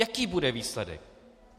Jaký bude výsledek?